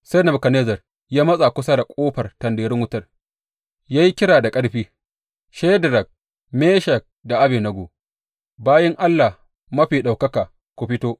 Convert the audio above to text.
Sai Nebukadnezzar ya matsa kusa da ƙofar tanderun wutar ya yi kira da ƙarfi, Shedrak, Meshak da Abednego, bayin Allah Mafi Ɗaukaka ku fito!